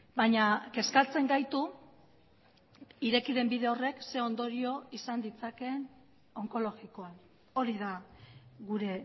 baina kezkatzen gaitu ireki den bide horrek ze ondorio izan ditzakeen onkologikoan hori da gure